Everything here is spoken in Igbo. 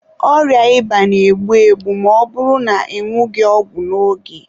Ọrịa ịba na-egbu egbu ma ọ bụrụ na ị nwụghị ọgwụ n'oge.